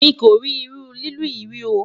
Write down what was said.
mí kò rí iru lilu yí rí o